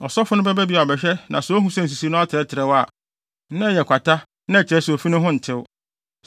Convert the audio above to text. ɔsɔfo no bɛba bio abɛhwɛ na sɛ ohu sɛ nsisii no atrɛtrɛw a, na ɛyɛ kwata na ɛkyerɛ sɛ ofi no ho ntew.